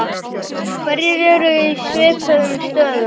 Hverjir eru í svipuðum stöðum?